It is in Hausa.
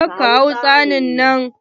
Ka da ka hau tsaunin nan!